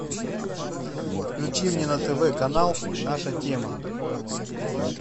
включи мне на тв канал наша тема